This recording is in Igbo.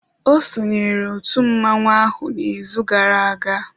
Ọ sonyeere otu mmọnwụ ahụ n'izu gara aga.